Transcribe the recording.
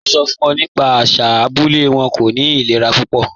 Mo n sọ fun ọ nípa àṣà abúlẹ̀ wọn, kò ní ìlẹ̀rà púpọ̀.